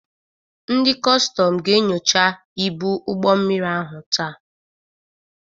Ndị kọstọm ga-enyocha ibu ụgbọ mmiri ahụ taa.